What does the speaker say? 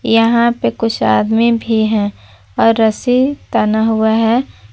यहां पे कुछ आदमी भी है और रस्सी ताना हुआ है।